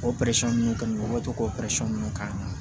O ninnu kɔni o bɛ to k'o ninnu ka